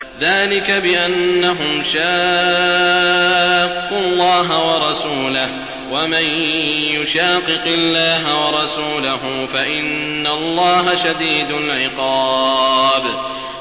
ذَٰلِكَ بِأَنَّهُمْ شَاقُّوا اللَّهَ وَرَسُولَهُ ۚ وَمَن يُشَاقِقِ اللَّهَ وَرَسُولَهُ فَإِنَّ اللَّهَ شَدِيدُ الْعِقَابِ